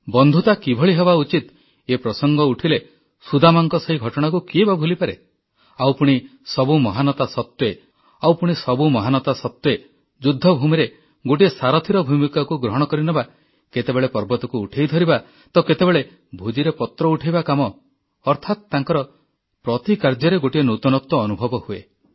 ବନ୍ଧୁତା କିଭଳି ହେବା ଉଚିତ ଏ ପ୍ରସଙ୍ଗ ଉଠିଲେ ସୁଦାମାଙ୍କ ସେହି ଘଟଣାକୁ କିଏ ବା ଭୁଲିପାରେ ଆଉ ପୁଣି ସବୁ ମହାନତା ସତ୍ୱେ ଯୁଦ୍ଧଭୂମିରେ ଗୋଟିଏ ସାରଥୀର ଭୂମିକାକୁ ଗ୍ରହଣ କରିନେବା କେତେବେଳେ ପର୍ବତକୁ ଉଠାଇ ଧରିବା ତ କେତେବେଳେ ଭୋଜିରେ ପତ୍ର ଉଠାଇବା କାମ ଅର୍ଥାତ ତାଙ୍କର ପ୍ରତି କାର୍ଯ୍ୟରେ ଗୋଟିଏ ନୂତନତ୍ୱ ଅନୁଭୁତ ହୁଏ